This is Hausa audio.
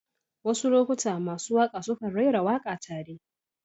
Wasu lokuta masu waƙa sukan rera waƙa tare.